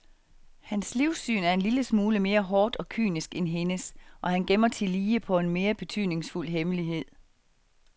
Hans livssyn er en lille smule mere hårdt og kynisk end hendes, og han gemmer tillige på en mere betydningsfuld hemmelighed.